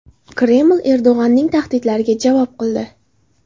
Kreml Erdo‘g‘onning tahdidlariga javob qildi.